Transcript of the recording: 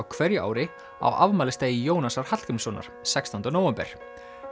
hverju ári á afmælisdegi Jónasar Hallgrímssonar sextánda nóvember